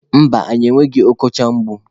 Mba, anyị enweghị ọkọchị egbu.